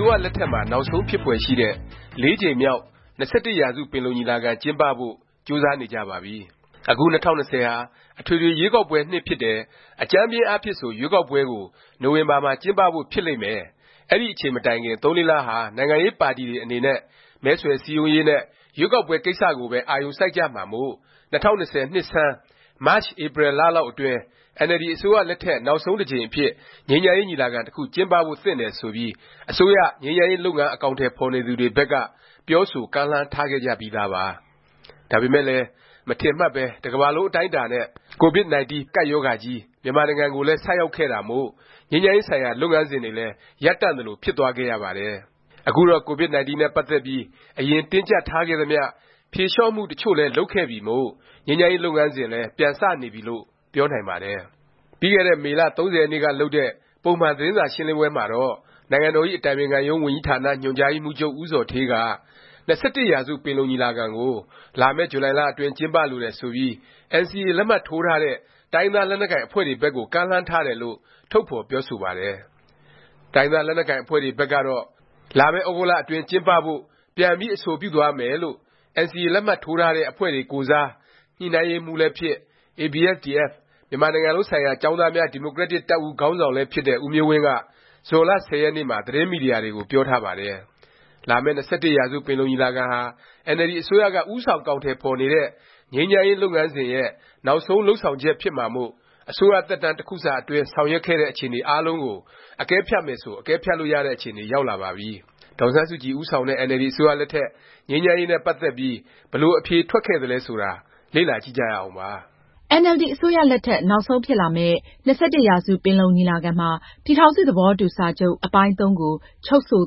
ိုးရလက်ထက်မှာ နောက်ဆုံး ဖြစ်ဖွယ်ရှိတဲ့ ၄ ကြိမ်မြောက် ၂၁ ရာစု ပင်လုံညီလာခံ ကျင်းပဖို့ ကြိုးစားနေကြပါပြီ။ အခု ၂၀၂၀ ဟာ အထွေထွေ ရွေးကောက်ပွဲ နှစ် ဖြစ်တယ်၊ အကြမ်းဖျဉ်းအားဖြင့်ဆို ရွေးကောက်ပွဲကို နိုဝင်ဘာမှာ ကျင်းပဖို့ ဖြစ်လိမ့်မယ်၊ အဲဒီအချိန် မတိုင်ခင် ၃-၄ လဟာ နိုင်ငံရေးပါတီတွေ အနေနဲ့ မဲဆွယ်စည်းရုံးရေးနဲ့ ရွေးကောက်ပွဲ ကိစ္စကိုပဲ အာရုံစိုက်ကြမှာမို့ ၂၀၂၀ နှစ်ဆန်း မတ်၊ဧပြီ လလောက်အတွင်း အင်န်အယ်လ်ဒီ အစိုးရလက်ထက် နောက်ဆုံးတစ်ကြိမ် အဖြစ် ငြိမ်းချမ်းရေး ညီလာခံ တစ်ခု ကျင်းပဖို့ သင့်တယ် ဆိုပြီး အစိုးရ ငြိမ်းချမ်းရေး လုပ်ငန်း အကောင်အထည် ဖော်နေသူတွေဘက်က ပြောဆို၊ ကမ်းလှမ်း ထားခဲ့ကြပြီးသားပါ။ ဒါပေမယ့်လည်း မထင်မှတ်ပဲ တကမ္ဘာလုံး အတိုင်းအတာနဲ့ COVID-19 ဗိုင်းရပ်စ် ကပ်ရောဂါကြီး မြန်မာနိုင်ငံကိုလည်း ဆိုက်ရောက်ခဲ့တာမို့ ငြိမ်းချမ်းရေး ဆိုင်ရာ လုပ်ငန်းစဉ်တွေလည်း ရပ်တန့်သလို ဖြစ်သွားခဲ့ရပါတယ်။ အခုတော့ COVID-19 နဲ့ ပတ်သက်ပြီး အရင် တင်းကြပ်ထားခဲ့သမျှ ဖြေလျော့မှု တစ်ချို့လည်း လုပ်ခဲ့ပြီမို့ ငြိမ်းချမ်းရေး လုပ်ငန်းစဉ်လည်း ပြန်စနေပြီလို့ ပြောနိုင်ပါတယ်။ ပြီးခဲ့တဲ့ မေလ ၃၀ ရက်နေ့က လုပ်တဲ့ ပုံမှန် သတင်းစာရှင်းလင်းပွဲမှာတော့ နိုင်ငံတော်ဇ။် အတိုင်ပင်ခံရုံး ဝန်ကြီးဌာန ညွှန်ကြားရေးမှူးချုပ် ဦးဇော်ဌေးက ၂၁ ရာစု ပင်လုံညီလာခံ ကို လာမယ့် ဇူလိုင်လ အတွင်း ကျင်းပလိုတယ်ဆိုပြီး NCA လက်မှတ်ထိုးထားတဲ့ တိုင်းရင်းသား လက်နက်ကိုင် အဖွဲ့တွေဘက်ကို ကမ်းလှမ်းထားတယ်လို့ ထုတ်ဖော်ပြောဆိုပါတယ်။ တိုင်းရင်းသား လက်နက်ကိုင် အဖွဲ့တွေ ဘက်ကတော့ လာမယ့် သြဂုတ်လ အတွင်း ကျင်းပဖို့ ပြန်ပြီး အဆိုပြုသွားမယ်လို့ NCA လက်မှတ်ထိုးထားတဲ့ အဖွဲ့တွေ ကိုယ်စား၊ ညှိနှိုင်းရေးမှူးလည်းဖြစ်၊ ABSDF မြန်မာနိုင်ငံလုံးဆိုင်ရာ ကျောင်းသားများ ဒီမိုကရက်တစ် တပ်ဦး ခေါင်းဆောင် လည်းဖြစ်တဲ့ ဦးမျိုးဝင်းက ဇွန်လ ၁၀ ရက်နေ့မှာ သတင်းမီဒီယာတွေကို ပြောထားပါတယ်။ လာမယ့် ၂၁ရာစု ပင်လုံညီလာခံဟာ အင်န်အယ်လ်ဒီ အစိုးရက ဦးဆောင် အကောင်အထည်ဖော်နေတဲ့ ငြိမ်းချမ်းရေး လုပ်ငန်းစဉ်ရဲ့ နောက်ဆုံး လုပ်ဆောင်ချက် ဖြစ်မှာမို့ အစိုးရသက်တမ်း တစ်ခုစာ အတွင်း ဆောင်ရွက်ခဲ့တဲ့ အခြေအနေ အားလုံးကို အကဲဖြတ်မယ်ဆို အကဲဖြတ်လို့ရတဲ့ အခြေအနေ ရောက်လာပါပြီ။ ဒေါ်အောင်ဆန်းစုကြည် ဦးဆောင်တဲ့ အင်န်အယ်လ်ဒီ အစိုးရလက်ထက် ငြိမ်းချမ်းရေးနဲ့ ပတ်သက်ပြီး ဘယ်လို အဖြေထွက်ခဲ့သလဲ ဆိုတာ လေ့လာ ကြည့်ကြရအောင်ပါ။ အင်န်အယ်လ်ဒီ အစိုးရလက်ထက် နောက်ဆုံးဖြစ်မယ့် လာမယ့် ၂၁ ရာစု ပင်လုံညီလာခံမှာ ပြည်ထောင်စု သဘောတူစာချုပ် အပိုင်း-၃ ကို ချုပ်ဆို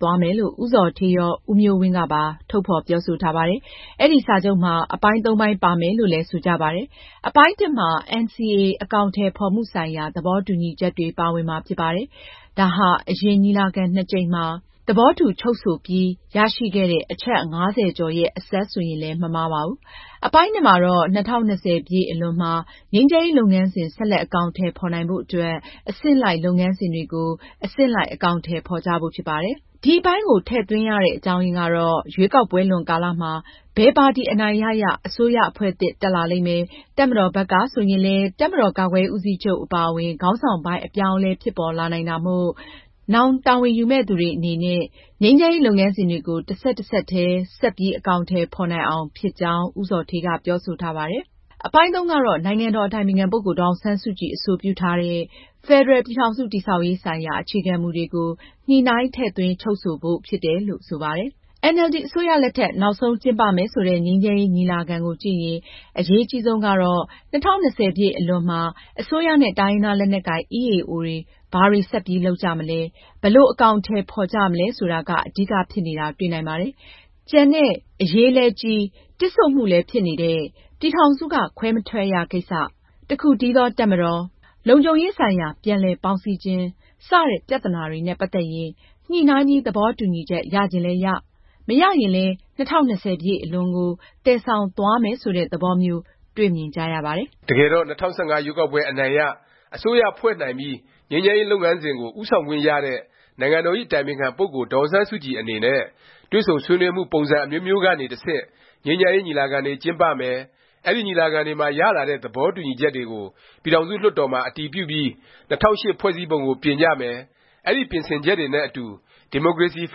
သွားမယ်လို့ ဦးဇော်ဌေးရော၊ ဦးမျိုးဝင်းကပါ ထုတ်ဖော် ပြောဆိုထားပါတယ်။ အဲဒီ စာချုပ်မှာ အပိုင်း ၃ ပိုင်း ပါမယ်လို့လည်း ဆိုကြပါတယ်။ အပိုင်း(၁) မှာ NCA အကောင်အထည် ဖော်မှုဆိုင်ရာ သဘောတူညီချက်တွေ ပါဝင်မှာ ဖြစ်ပါတယ်။ ဒါဟာ အရင် ညီလာခံ ၂ ကြိမ်မှာ သဘောတူ ချုပ်ဆိုပြီး ရရှိခဲ့တဲ့ အချက်(၅၀) ကျော်ရဲ့ အဆက်လို့ ဆိုရင်လည်း မမှားပါဘူး။ အပိုင်း(၂) မှာတော့ ၂၀၂၀ အလွန်မှာ ငြိမ်းချမ်းရေး လုပ်ငန်းစဉ် ဆက်လက် အကောင်အထည် ဖော်နိုင်ဖို့ အတွက် အဆင့်လိုက် လုပ်ငန်းစဉ်တွေကို အဆင့်လိုက် အကောင်အထည် ဖော်ကြဖို့ ဖြစ်ပါတယ်။ ဒီအပိုင်းကို ထည့်သွင်းရခြင်း အကြောင်းရင်းကတော့ ရွေးကောက်ပွဲလွန်ကာလမှာ ဘယ်ပါတီ အနိုင်ရရ၊ အစိုးရ အဖွဲ့သစ် တက်လာလိမ့်မယ်၊ တပ်မတော်ဘက်က ဆိုရင်လည်း တပ်မတော် ကာကွယ်ရေး ဦးစီးချုပ် အပါအဝင် ခေါင်းဆောင်ပိုင်း အပြောင်းအလဲ ဖြစ်ပေါ်လာနိုင်တာမို့ နောင် တာဝန်ယူရမယ့် သူတွေ အနေနဲ့ ငြိမ်းချမ်းရေး လုပ်ငန်းစဉ်တွေကို တဆက်တစပ်တည်း ဆက်ပြီး အကောင်အထည် ဖော်နိုင်အောင် ဖြစ်ကြောင်း ဦးဇော်ဌေးက ပြောဆိုထားပါတယ်။ အပိုင်း(၃) ကတော့ နိုင်ငံတော်ဇ။် အတိုင်ပင်ခံ ပုဂ္ဂိုလ် ဒေါ်အောင်ဆန်းစုကြည် အဆိုပြုထားတဲ့ ဖက်ဒရယ် ပြည်ထောင်စု တည်ဆောက်ရေး ဆိုင်ရာ အခြေခံမူတွေကို ညှိနှိုင်း ထည့်သွင်းချုပ်ဆိုဖို့ ဖြစ်တယ်လို့ ဆိုပါတယ်။ အင်န်အယ်လ်ဒီ အစိုးရလက်ထက် နောက်ဆုံး ကျင်းပမယ် ဆိုတဲ့ ငြိမ်းချမ်းရေး ညီလာခံကိုကြည့်ရင် အရေးအကြီးဆုံးကတော့ ၂၀၂၀ အလွန်မှာ အစိုးရနဲ့ တိုင်းရင်းသား လက်နက်ကိုင် EAO တွေ ဘာတွေ ဆက်ပြီး လုပ်ကြမလဲ၊ ဘယ်လို အကောင်အထည် ဖော်ကြမလဲ ဆိုတာက အဓိက ဖြစ်နေတာ တွေ့နိုင်ပါတယ်။ ကျန်တဲ့ အရေးလည်းကြီး တစ်ဆို့မှုလည်း ဖြစ်နေတဲ့ “ ပြည်ထောင်စုက ခွဲမထွက်ရ” ကိစ္စ၊ “ တစ်ခုတည်းသော တပ်မတော်” “ လုံခြုံရေးဆိုင်ရာ ပြန်လည် ပေါင်းစည်းခြင်း” စတဲ့ ပြသနာတွေနဲ့ ပတ်သက်ရင် ညှိနှိုင်းပြီး သဘောတူညီချက် ရချင်လည်းရ၊ မရရင်လည်း ၂၀၂၀ အလွန်ကို သယ်ဆောင်သွားမယ်ဆိုတဲ့ သဘောမျိုး တွေ့မြင်ကြရပါတယ်။ တကယ်တော့ ၂၀၁၅ ရွေးကောက်ပွဲ အနိုင်ရ၊ အစိုးရ ဖွဲ့နိုင်ပြီး ငြိမ်းချမ်းရေး လုပ်ငန်းစဉ်ကို ဦးဆောင်ခွင့်ရတဲ့ နိုင်ငံတော်ဇ။် အတိုင်ပင်ခံ ပုဂ္ဂိုလ် ဒေါ်အောင်ဆန်းစုကြည် အနေနဲ့ တွေ့ဆုံ ဆွေးနွေးမှု ပုံစံအမျိုးမျိုးကနေ တဆင့် ငြိမ်းချမ်းရေး ညီလာခံတွေ ကျင်းပမယ်၊ အဲဒီ ညီလာခံတွေမှာ ရလာတဲ့ သဘောတူညီချက်တွေကို ပြည်ထောင်စု လွှတ်တော်မှာ အတည်ပြုပြီး ၂၀၀၈ ဖွဲ့စည်းပုံကို ပြင်ကြမယ်၊ အဲဒီ ပြင်ဆင်ချက်တွေနဲ့ အတူ ဒီမိုကရေစီ ဖ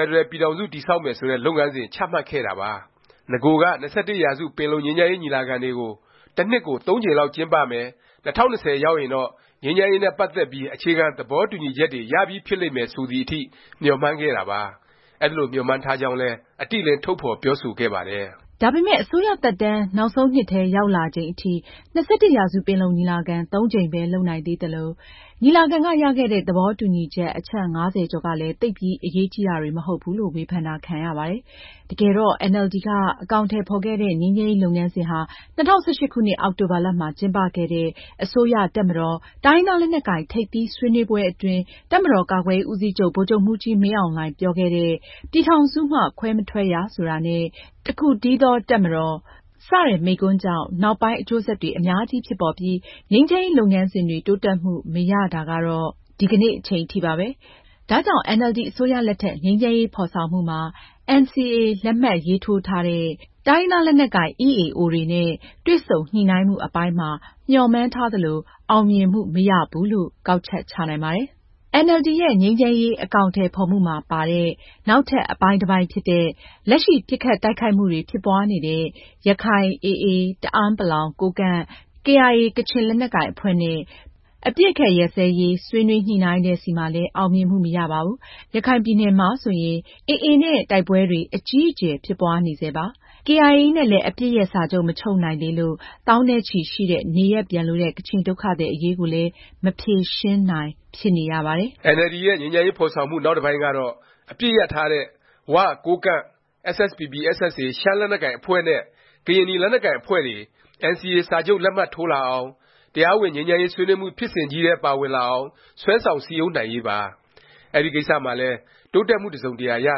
က်ဒရယ် ပြည်ထောင်စု တည်ဆောက်မယ် ဆိုတဲ့ လုပ်ငန်းစဉ် ချမှတ်ခဲ့တာပါ။ နဂိုက ၂၁ ရာစု ပင်လုံ ငြိမ်းချမ်းရေး ညီလာခံတွေ တစ်နှစ်ကို ၃ ကြိမ်လောက် ကျင်းပမယ်၊ ၂၀၂၀ ရောက်ရင်တော့ ငြိမ်းချမ်းရေးနဲ့ ပတ်သက်ပြီး အခြေခံ သဘောတူညီချက်တွေ ရပြီးဖြစ်လိမ့်မယ် ဆိုသည်အထိ မျှော်မှန်းခဲ့တာပါ။ အဲဒီလို မျှော်မှန်းထားကြောင်းလည်း အတိအလင်း ထုတ်ဖော်ပြောဆိုခဲ့ပါတယ်။ ဒါပေမယ့် အစိုးရသက်တမ်း နောက်ဆုံးနှစ်ထဲ ရောက်လာချိန်အထိ ၂၁ ရာစု ပင်လုံညီလာခံ ၃ ကြိမ်ပဲ လုပ်နိုင်သေးသလို၊ ညီလာခံက ရခဲ့တဲ့ သဘောတူညီချက် အချက် ၅၀ ကျော်ကလည်း သိပ်ပြီး အရေးကြီးတာတွေ မဟုတ်ဘူးလို့ ဝေဖန်တာ ခံရပါတယ်။ တကယ်တော့ အင်န်အယ်လ်ဒီက အကောင်အထည် ဖော်ခဲ့တဲ့ ငြိမ်းချမ်းရေး လုပ်ငန်းစဉ်ဟာ ၂၀၁၈ ခုနှစ် အောက်တိုဘာလမှာ ကျင်းပခဲ့တဲ့ အစိုးရ၊ တပ်မတော်၊ တိုင်းရင်းသား လက်နက်ကိုင် ထိပ်သီး ဆွေးနွေးပွဲအတွင်း တပ်မတော်ကာကွယ်ရေး ဦးစီးချုပ် ဗိုလ်ချုပ်မှူးကြီး မင်းအောင်လှိုင် ပြောခဲ့တဲ့ “ ပြည်ထောင်စုမှ ခွဲမထွက်ရ” ဆိုတာနဲ့ “ တစ်ခုတည်းသော တပ်မတော်” ဆိုင်ရာ မိန့်ခွန်းကြောင့် နောက်ပိုင်း အကျိုးဆက်တွေ အများကြီး ဖြစ်ပေါ်ပြီး ငြိမ်းချမ်းရေး လုပ်ငန်းစဉ်တွေ တိုးတက်မှု မရတော့တာ ဒီကနေ့ အချိန်ထိပါပဲ။ ဒါကြောင့် အင်န်အယ်လ်ဒီ အစိုးရလက်ထက် ငြိမ်းချမ်းရေး ဖော်ဆောင်မှုမှာ NCA လက်မှတ်ထိုးထားတဲ့ တိုင်းရင်းသား လက်နက်ကိုင် EAO တွေနဲ့ တွေ့ဆုံညှိနှိုင်းမှု အပိုင်းမှာ မျှော်မှန်းထားသလို အောင်မြင်မှု မရဘူးလို့ ကောက်ချက် ချနိုင်ပါတယ်။ အင်န်အယ်လ်ဒီ ရဲ့ ငြိမ်းချမ်းရေး အကောင်အထည် ဖော်မှုမှာ ပါတဲ့ နောက်ထပ် အပိုင်းတစ်ပိုင်းဖြစ်တဲ့၊ လက်ရှိ ပစ်ခတ်တိုက်ခိုက်မှုတွေ ဖြစ်ပွားနေတဲ့ ရခိုင် AA, တအဲန်းပလောင်၊ ကိုးကန့်၊ KIA ကချင်လက်နက်ကိုင်တွေနဲ့ အပစ်အခတ် ရပ်စဲရေး ဆွေးနွေးညှိနှိုင်းတဲ့ဆီမှာလည်း အောင်မြင်မှု မရပါဘူး။ ရခိုင်ပြည်နယ်မှာ ဆိုရင် AA နဲ့ တိုက်ပွဲတွေ အကြီးအကျယ် ဖြစ်ပွားနေဆဲပါ။ KIA နဲ့လည်း အပစ်ရပ်စာချုပ် မချုပ်နိုင်သေးလို့ သောင်းနဲ့ချီရှိတဲ့ နေရပ်ပြန်လိုတဲ့ ကချင်ဒုက္ခသည် အရေးကိုလည်း မဖြေရှင်းနိုင် ဖြစ်နေရပါတယ်။ အင်န်အယ်လ်ဒီ ရဲ့ ငြိမ်းချမ်းရေး ဖော်ဆောင်မှု နောက်တစ်ပိုင်းကတော့ အပစ်ရပ်ထားတဲ့ ဝ၊ ကိုးကန့်၊ SSPP/SSA ရှမ်းလက်နက်ကိုင် အဖွဲ့နဲ့ ကရင်နီ လက်နက်ကိုင် အဖွဲ့တွေ NCA စာချုပ် လက်မှတ်ထိုးလာအောင်၊ တရားဝင် ငြိမ်းချမ်းရေး ဆွေးနွေးမှု ဖြစ်စဉ်ကြီးထဲ ပါဝင်လာအောင် ဆွဲဆောင် စည်းရုံးနိုင်ရေးပါ။ အဲဒီကိစ္စမှာလည်း တိုးတက်မှု တစ်စုံတရာ ရ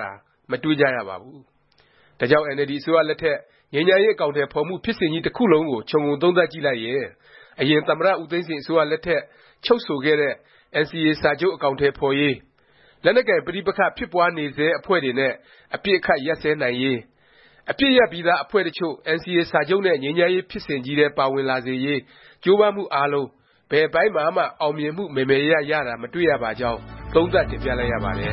တာ မတွေ့ကြရပါဘူး။ ဒါကြောင့် အင်န်အယ်လ်ဒီ အစိုးရလက်ထက် ငြိမ်းချမ်းရေး အကောင်အထည် ဖော်မှု ဖြစ်စဉ်ကြီး တစ်ခုလုံးကို ခြုံငုံ သုံးသပ်ကြည့်လိုက်ရင် အရင် သမ္မတ ဦးသိန်းစိန် အစိုးရ လက်ထက် ချုပ်ဆိုခဲ့တဲ့ NCA စာချုပ် အကောင်အထည် ဖော်ရေး၊ လက်နက်ကိုင် ပဋိပက္ခ ဖြစ်ပွားနေဆဲ အဖွဲ့တွေနဲ့ အပစ်အခတ် ရပ်စဲနိုင်ရေး၊ အပစ်ရပ်ပြီးသား အဖွဲ့တစ်ချို့ NCA စာချုပ်နဲ့ ငြိမ်းချမ်းရေး ဖြစ်စဉ်ကြီးထဲ ပါဝင်လာစေရေး ကြိုးပမ်းမှု အားလုံး ဘယ်အပိုင်းမှာမှ အောင်မြင်မှု မယ်မယ်ရရ ရတာ မတွေ့ရပါကြောင်း သုံးသပ် တင်ပြလိုက်ရပါတယ